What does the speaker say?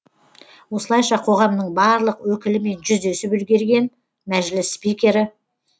осылайша қоғамның барлық өкілімен жүздесіп үлгерген мәжіліс спикері